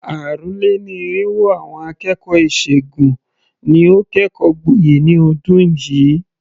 Àrùn-lé-ní-irínwó àwọn akẹ́kọ̀ọ́ ìṣègùn ni ó kẹ́kọ̀ọ́ gboyè ní ọdún yìí.